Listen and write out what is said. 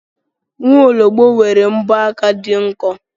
Nwaologbo nwere mbọ aka dị nkọ.